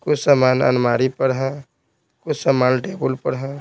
कुछ समान अनमारी पर है कुछ समान टेबुल कुछ पर है।